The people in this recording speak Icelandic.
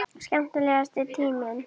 Skemmtilegasti tíminn?